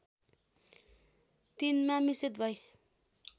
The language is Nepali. तिनमा मिश्रित भइ